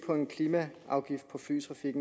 om en klimaafgift på flytrafik